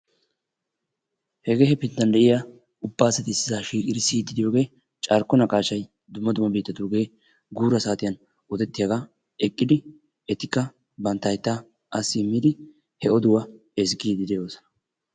Hegee hefinttan de'iyaa ubba asati issisaa shiiqqidi siyiidi de'iyoo carkko naqaashshay dumma dumma biittatugee guuraa saatiyaan odettiyaagaa eqqidi etikka bantta hayttaa asi immidi he oduwaa ezgiidi de"oosona.